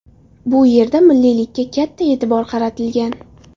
Bu yerda milliylikka katta e’tibor qaratilgan.